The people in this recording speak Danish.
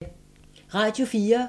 Radio 4